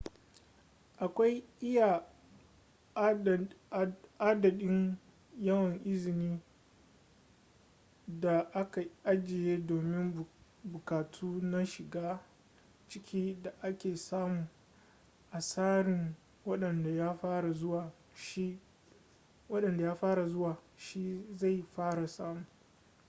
akwai iya adadin yawan izini da aka ajiye domin buƙatu na shiga-ciki da ake samu a tsarin wadanda ya fara zuwa shi zai fara samu